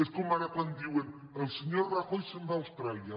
és com ara quan di·uen el senyor rajoy se’n va a austràlia